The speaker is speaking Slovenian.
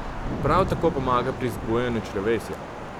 Prav tako pomaga pri zbujanju črevesja.